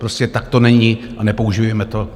Prostě tak to není a nepoužívejme to.